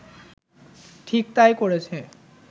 ঠিক তাই করেছে